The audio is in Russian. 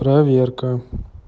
проверка